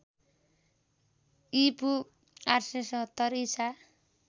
ईपू ८७० ईसा